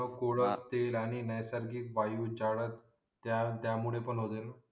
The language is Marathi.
मग पुढं ते राणी नैसर्गिक वायू झाड त्यामुळे पण होते